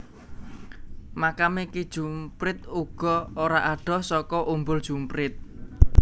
Makame Ki Jumprit uga ora adoh saka Umbul Jumprit